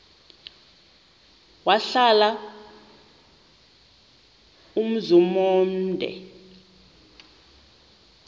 wahlala umzum omde